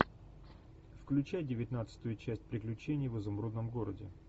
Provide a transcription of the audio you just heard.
включай девятнадцатую часть приключений в изумрудном городе